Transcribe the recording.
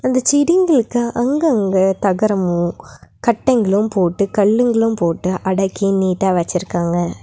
அந்தச் செடிகளுக்கு அங்கங்க தகரமு கட்டைங்களு போட்டு கல்லுங்களும் போட்டு அடக்கி நீட்டா வச்சுருக்காங்க.